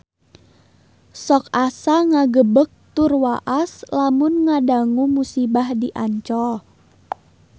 Sok asa ngagebeg tur waas lamun ngadangu musibah di Ancol